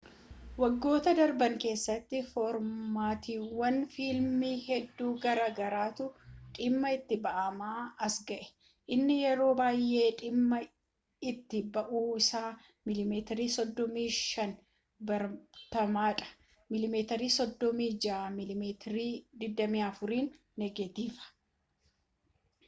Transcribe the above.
waggoottan darban keessatti foormaatiiwwan fiilmii hedduu garaa garaatu dhimma itti ba’amaa as ga’e. inni yeroo baay’ee dhimma itti ba’amu isa miiliimeetirii 35 baratamaadha mm 36 mm 24n negatiiva